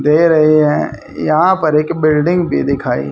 दे रहे हैं यहां पर एक बिल्डिंग भी दिखाई--